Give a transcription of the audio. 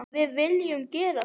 Við viljum gera það.